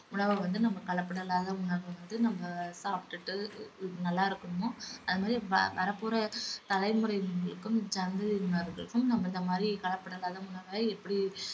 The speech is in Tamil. உணவ வந்து நம்ம கலப்படம் இல்லாத உணவு வந்து நம்ம சாப்டுட்டு நல்லா இருக்குறமோ அதே மாதிரி வரப்போற தலைமுறையினருக்கும் சங்கதியினருக்கும் நம்ம இந்த மாதிரி கலப்படம் இல்லாத உணவ எப்படி